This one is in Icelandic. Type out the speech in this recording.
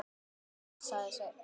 Þannig séð, sagði Sveinn.